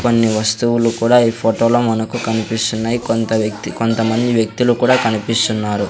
కొన్ని వస్తువులు కూడా ఈ ఫొటో లో మనకు కనిపిస్తున్నాయి కొంత వ్యక్తి కొంతమంది వ్యక్తులు కూడా కనిపిస్తున్నారు.